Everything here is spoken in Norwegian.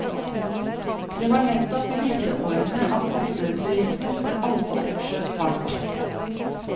Det var nettopp i disse årene at masseturismen for alvor skjøt fart.